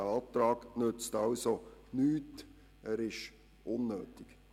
Dieser Antrag nützt nichts und ist unnötig.